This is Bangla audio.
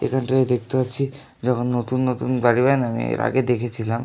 এই খান থেকে দেখতে পারছি যখন নতুন নতুন বাড়ি বানাবে এর আগে দেখেছিলাম।